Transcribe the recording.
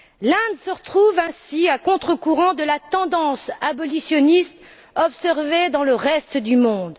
L'Inde se retrouve ainsi à contrecourant de la tendance abolitionniste observée dans le reste du monde.